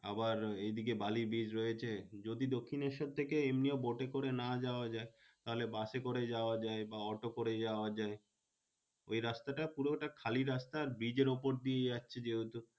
আবার এদিকে বালি bridge রয়েছে যদি দক্ষিনেশ্বর থেকে এমনিও boat এ করে না যাওয়া যায়, তাহলে বাসে করে যাওয়া যায় বা অটো করে যাওয়া যায়। ওই রাস্তাটা পুরোটা খালি রাস্তা আর bridge এর উপর দিয়ে যাচ্ছে যেহেতু।